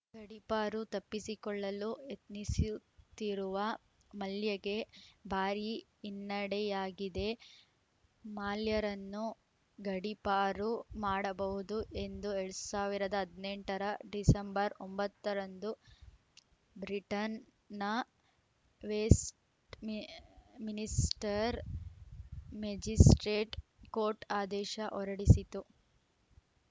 ಗಡೀಪಾರು ತಪ್ಪಿಸಿಕೊಳ್ಳಲು ಯತ್ನಿಸುತ್ತಿರುವ ಮಲ್ಯಗೆ ಭಾರಿ ಹಿನ್ನಡೆಯಾಗಿದೆ ಮಾಲ್ಯರನ್ನು ಗಡೀಪಾರು ಮಾಡಬಹುದು ಎಂದು ಎಡ್ ಸಾವಿರದ ಹದಿನೆಂಟ ರ ಡಿಸೆಂಬರ್ ಒಂಬತ್ತ ರಂದು ಬ್ರಿಟನ್‌ನ ವೇಸ್ಟ್‌ಮಿ ಮಿನಿಸ್ಟರ್‌ ಮೇಜಿಸ್ಪ್ರೇಟ್‌ ಕೋರ್ಟ್‌ ಆದೇಶ ಹೊರಡಿಸಿತ್ತು